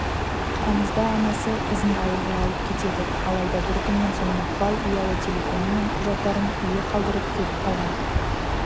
тамызда анасы қызын ауылға алып кетеді алайда бір күннен соң мақпал ұялы телефоны мен құжаттарын үйге қалдырып кетіп қалған